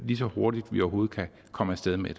lige så hurtigt vi overhovedet kan komme af sted med